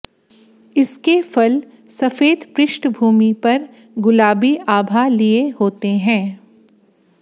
इसके फल सफेद पृष्टभूमि पर गुलाबी आभा लिए होते हैं